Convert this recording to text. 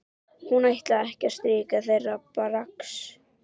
Hún ætlaði ekki að styrkja þeirra brask!